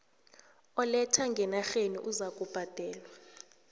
oletha ngenarheni uzakubhadela